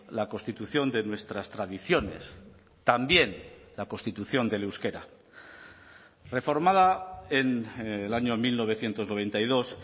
la constitución de nuestras tradiciones también la constitución del euskera reformada en el año mil novecientos noventa y dos